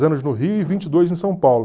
anos no Rio e vinte e dois em São Paulo.